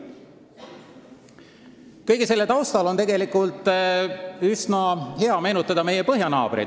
Kõige selle taustal on üsna hea meenutada meie põhjanaabreid.